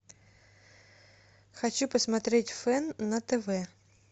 хочу посмотреть фэн на тв